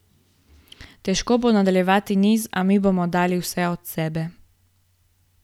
Težko bo nadaljevati niz, a mi bomo dali vse od sebe.